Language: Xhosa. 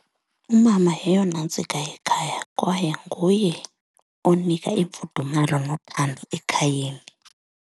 Umama yeyona ntsika yekhaya kwaye nguye onika imfudumalo nothando ekhayeni.